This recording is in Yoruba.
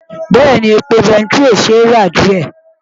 Bẹ́ẹ̀ni, epo bẹntiró ṣì ṣe é rà díẹ̀.